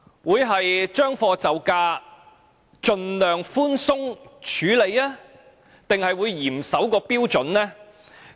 會"將貨就價"，盡量寬鬆處理，還是會嚴守標準？